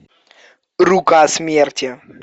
рука смерти